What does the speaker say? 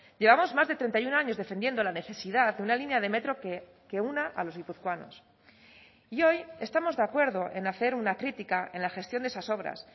llevamos más de treinta y uno años defendiendo la necesidad de una línea de metro que una a los guipuzcoanos y hoy estamos de acuerdo en hacer una crítica en la gestión de esas obras